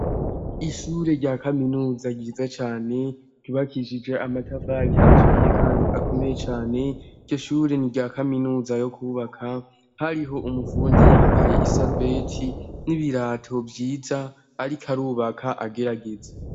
Ishure rya kaminuza ryiza cane ntubakishije amatafali acuriye, kandi akomeye cane ityo shure ni rya kaminuza yo kubaka hariho umufundi yambaye isarubeti n'ibirato vyiza, ariko arubaka agerageza.